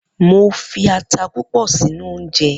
Mo fi ata púpọ̀ sínú oúnjẹ